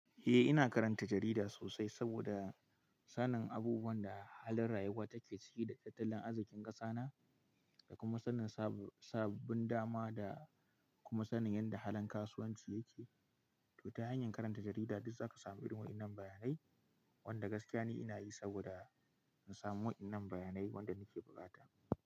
Eh ina karanta jarida sosai saboda sanin abubuwan da halin rayuwa take ciki da tattalin arzikin ƙasa na, da kuma sanin sabbin dama da kuma sanin yadda halin kasuwanci yake. To ta hanyar karanta jarida duk zaka samu irin waɗannan bayanai wanda gaskiya ne ina yi saboda in samu waɗannan bayanai wanda nake buƙata.